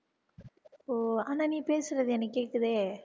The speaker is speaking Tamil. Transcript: ஓ ஆனா நீ பேசுறது எனக்கு கேட்குதே